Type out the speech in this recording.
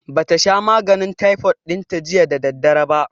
Ba ta sha maganin taifot ɗin ta jiya da daddare ba